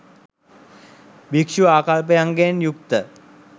භික්ෂූ ආකල්පයන්ගෙන් යුක්ත